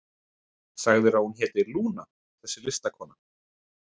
Sagðirðu að hún héti Lúna, þessi listakona?